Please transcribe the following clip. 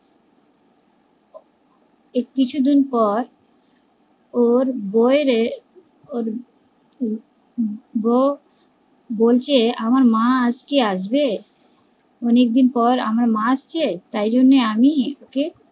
এর কিছু দিন পর ওর বৌ এর বলছে আমার মা আজকে আসবে অনেক দিন পর আমার মা আসছে তাই জন্যই আমি ওকে